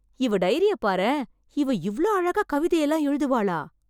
இவ டைரிய பாரேன்... இவ இவ்ளோ அழகா கவிதையெல்லாம் எழுதுவாளா...